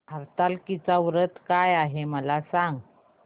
हरतालिका व्रत काय आहे मला सांग